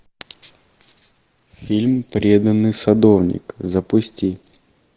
фильм преданный садовник запусти